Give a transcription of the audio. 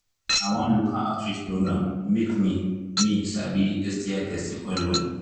na one local outreach program make me me sabi sti testing well well